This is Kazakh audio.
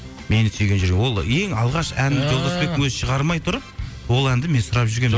мені сүйген жүрек ол ең алғаш жолдасбектің өзі шығармай тұрып ол әнді мен сұрап